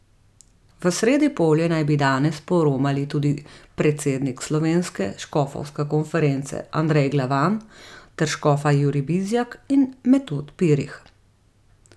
V Sredipolje naj bi danes poromali tudi predsednik Slovenske škofovske konference Andrej Glavan ter škofa Jurij Bizjak in Metod Pirih.